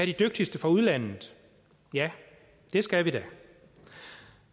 de dygtigste fra udlandet ja det skal vi da